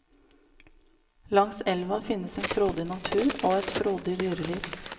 Langs elva finnes en frodig natur og et frodig dyreliv.